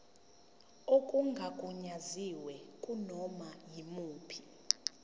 okungagunyaziwe kunoma yimuphi